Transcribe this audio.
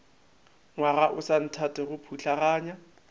ngwaga o sa nthatego putlaganya